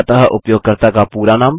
अतः उपयोगकर्ता का पूरा नाम